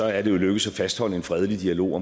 er det lykkedes at fastholde en fredelig dialog